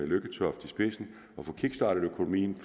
lykketoft i spidsen at få kickstartet økonomien